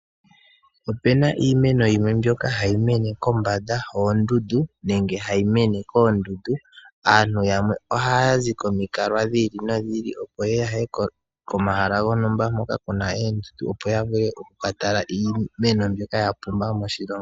Opu na iimeno yimwe mbyoka hayi mene kombanda yoondundu nenge hayi mene koondundu. Aantu yamwe ohayi zi komalukalwa gi ili nogi ili, opo ya ye komahala hoka ku na oondundu, opo ya vule oku ka tala iimeno mbyoka ya pumba moshilongo.